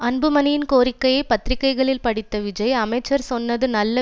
அன்புமணியின் கோரிக்கையை பத்திரிகைகளில் படித்த விஜய் அமைச்சர் சொன்னது நல்ல